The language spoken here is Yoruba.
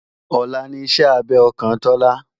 Ọ̀la ní ìṣe abẹ ọkàn Tọ́lá